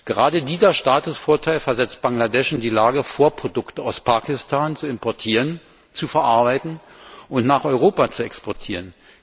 Gerade dieser Statusvorteil versetzt Bangladesch in die Lage, Vorprodukte aus Pakistan zu importieren, zu verarbeiten und nach Europa zu exportieren.